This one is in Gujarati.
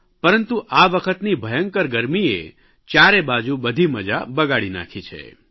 પરંતુ આ વખતની ભયંકર ગરમીએ ચારે બાજુ બધી મજા બગાડી નાખી છે